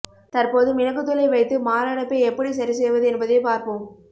தற்போது மிளகுத்தூளை வைத்து மாரடைப்பை எப்படி சரி செய்வது என்பதை பார்ப்போம்